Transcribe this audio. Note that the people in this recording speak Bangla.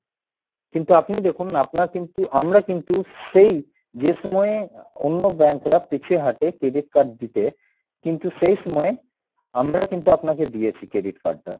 কিন্তু আপনি দেখুন আপনার কিন্তু আমরা কিন্তু সেই যে সময়ে অন্য bank রা পিছিয়ে হাটে credit card দিতে, কিন্তু সেই সময় আমরা কিন্তু আপনাকে দিয়েছি credit card টা,